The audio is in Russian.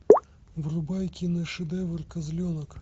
врубай киношедевр козленок